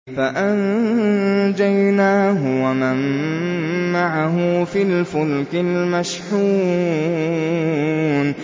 فَأَنجَيْنَاهُ وَمَن مَّعَهُ فِي الْفُلْكِ الْمَشْحُونِ